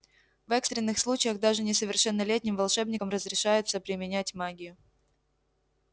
в экстренных случаях даже несовершеннолетним волшебникам разрешается применять магию